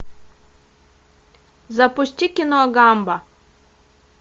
запусти кино гамба